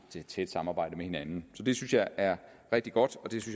tæt samarbejde med hinanden så det synes jeg er rigtig godt og det